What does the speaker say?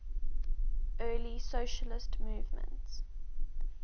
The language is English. early socialist movement